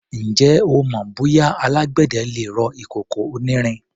Ǹjẹ́ o mọ bóyá alágbẹ̀dẹ le rọ ìkòkò onírin?